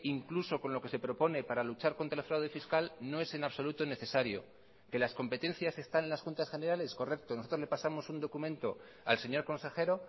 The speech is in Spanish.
incluso con lo que se propone para luchar contra el fraude fiscal no es en absoluto necesario que las competencias están en las juntas generales correcto nosotros le pasamos un documento al señor consejero